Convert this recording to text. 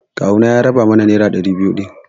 Kawuna ya raba mana nera ɗari biyu din.